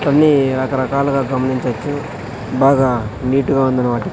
కొన్ని రకరకాలుగా గమనించవచ్చు బాగా నీట్ గా ఉందన్నమా--